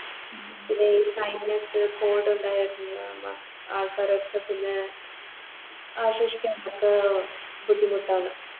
പിന്നെയി ആൾക്കാരൊക്കെ പിന്നെ ആഷോഷിക്കാൻ നമുക്ക് ബുദ്ധിമുട്ടാണ്